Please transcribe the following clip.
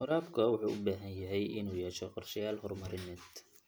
Waraabka wuxuu u baahan yahay inuu yeesho qorshayaal horumarineed.